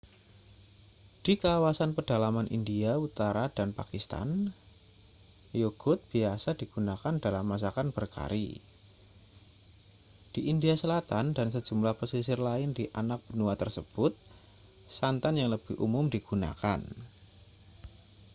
di kawasan pedalaman india utara dan pakistan yogurt biasa digunakan dalam masakan berkari di india selatan dan sejumlah pesisir lain di anak benua tersebut santan yang lebih umum digunakan